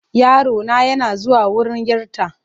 Yarona yana zuwa wurin 'yarta.